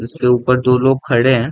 इसके ऊपर दो लोग खड़े हैं।